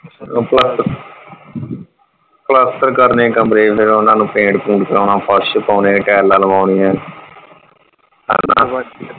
ਪਲਸਤਰ ਕਰਨੇ ਆ ਕਮਰੇ ਫਿਰ ਓਹਨਾ ਨੂੰ ਪੇਂਟ ਪੁੰਟ ਕਰਾਉਣਾ ਫਰਸ਼ ਪੌਣੇ ਟਾਈਲਾਂ ਲਵੋਨੀਆਂ .